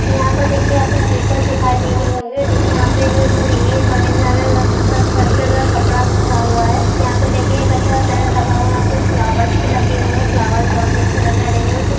यहा पर देखिए आप को स्लिपर्स दिखाई दे रही होगी और देखिए यहा पे जो सीड़ है चड़ने के लिए कपड़ा बिछा हुवा है। यहा पे देखिए एक अच्छा टेंट लगा हुवा कुछ फलवोर्स भी लगे हुवे फलवोर्स बहुत ही अच्छे लग रहे है देखने मे ।